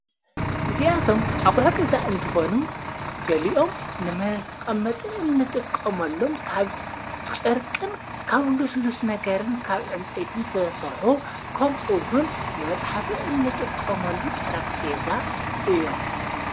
እዚኣቶም ኣቝሕ ገዛ እንተኾኑ ገሊኦም ንመቐመጠ እንጥቀምሎም ካብ ጨርቅን ካብ ልስሉስ ነገርን ካብ ዕንፀይትን ተተሠርሑ ከምኡውን ንመጽሓፍ እንጥቀሞሉ ጠረጴዛ እዮም::